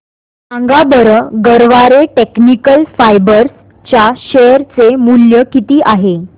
सांगा बरं गरवारे टेक्निकल फायबर्स च्या शेअर चे मूल्य किती आहे